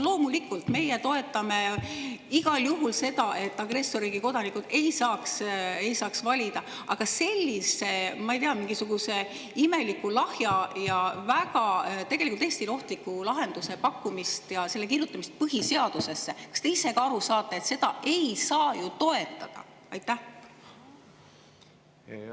Loomulikult, meie toetame igal juhul seda, et agressorriigi kodanikud ei saaks valida, aga sellise, ma ei tea, mingisuguse imeliku, lahja ja Eestile tegelikult väga ohtliku lahenduse pakkumist ja selle kirjutamist põhiseadusesse – kas te ise ka aru saate, et seda ei saa ju toetada?